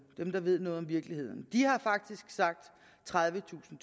dem der ved noget om virkeligheden har sagt tredivetusind